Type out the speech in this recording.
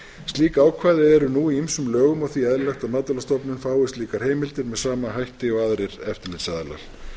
slík ákvæði eru nú í ýmsum lögum og því eðlilegt að matvælastofnun fái slíkar heimildir með sama hætti og aðrir eftirlitsaðilar